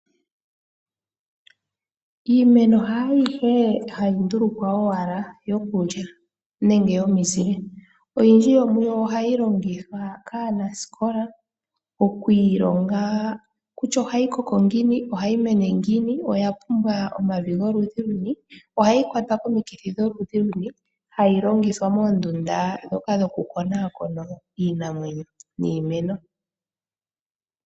Iimeno haayihe hayi ndulukwa owala yokulya nenge omizile, oyindji yomuyo ohayi longithwa kaanasikola, oku ilonga kutya ohayi koko ngiini, ohayi mene ngiini, oya pumbwa omavi goludhi luni, ohayi kwatwa komikithi dholudhi luni, hayi longithwa moondunda ndhoka dhoku konaakona iinamwenyo niimeno.